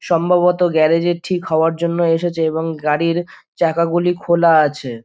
সম্ববত garage -এ ঠিক হওয়ার জন্য এসেছে এবং গাড়ির চাকা গুলি খোলা আছে ।